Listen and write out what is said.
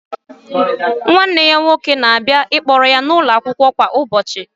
Nwanne ya nwoke na-abịa ịkpọrọ ya n'ụlọ akwụkwọ kwa ụbọchị